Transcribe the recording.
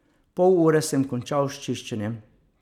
V pol ure sem končal s čiščenjem.